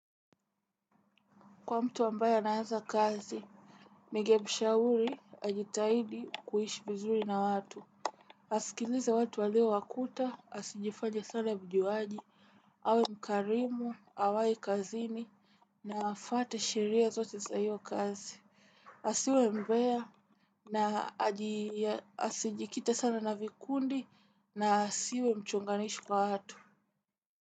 Kwa mtu ambaye anaanza kazi. Ningemshauri ajitahidi kuishi vizuri na watu. Asikilize watu walio wakuta, asijifanye sana mjuaji, awe mkarimu, awai kazini, na afuate sheria zote za hiyo kazi. Asiwe mbea, na asijikite sana na vikundi, na asiwe mchunganishi kwa watu.